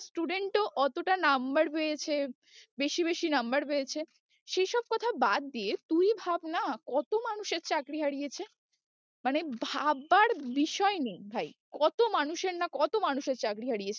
student ও অতটা number পেয়েছে বেশি বেশি number পেয়েছে সেই সব কথা বাদ দিয়ে তুই ভাব না কত মানুষের চাকরি হারিয়েছে মানে ভাবার বিষয়ে নেই ভাই, কত মানুষের না কত মানুষের চাকরি হারিয়েছে